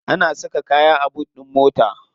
Ana saka kaya a boot din mota.